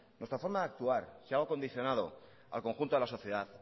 nuestra forma de actuar si algo ha condicionado al conjunto de la sociedad